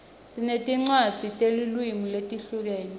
sinetincwadzi tetilwimi letihlukene